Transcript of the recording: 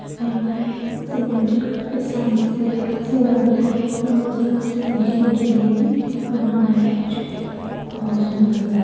यहां पे सीमेंटेड करके साइड से सीनारी को मजाक से देखने के लिए भी बना हुआ है जो की बहुत सुंदर लग--